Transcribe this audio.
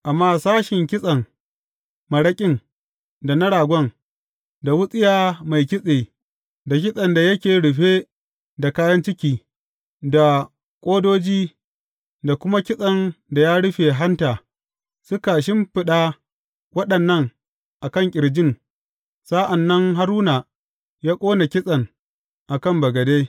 Amma sashen kitsen maraƙin da na ragon, da wutsiya mai kitse, da kitsen da yake rufe da kayan ciki, da ƙodoji da kuma kitsen da ya rufe hanta, suka shimfiɗa waɗannan a kan ƙirjin, sa’an nan Haruna ya ƙone kitsen a kan bagade.